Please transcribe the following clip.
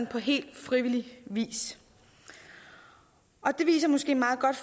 på helt frivillig vis det viser måske meget godt